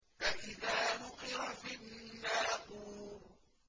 فَإِذَا نُقِرَ فِي النَّاقُورِ